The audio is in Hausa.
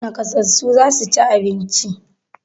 Naƙasassu za su ci abinci.